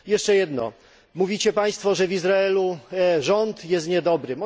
Jeszcze jedno mówicie Państwo, że w Izraelu rząd nie jest dobry.